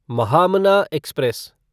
Mahamana express